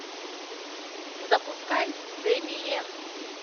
запускай дэмиен